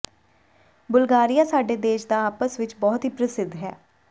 Bulgaria ਸਾਡੇ ਦੇਸ਼ ਦਾ ਆਪਸ ਵਿੱਚ ਬਹੁਤ ਹੀ ਪ੍ਰਸਿੱਧ ਹੈ